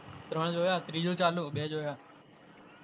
ત્રણ જોયા ત્રિજુ ચાલુ બે જોયા.